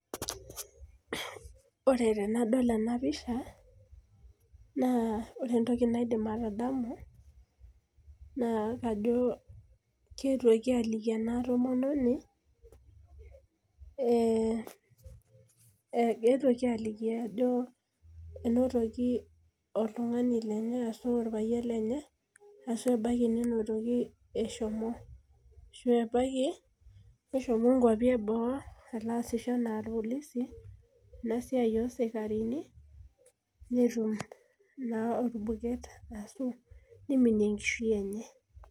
Ore tenadol enapisha, naa ore entoki naidim atadamu, naa kajo keetuoki aliki ena tomononi, keetuoki aliki ajo enotoki oltung'ani lenye ashu orpayian lenye, ashu ebaiki ninotoki eshomo. Ashu ebaiki, neshomo nkwapi eboo, aasisho enaa irpolisi, enasiai osikarini, netum naa orbuket ashu niminie enkishui enye.